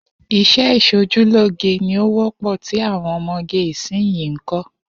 Is̩é̩ is̩ojúlóge ni ó wó̩pò̩ tí àwo̩n o̩mo̩ge ìsinyìí ń kó̩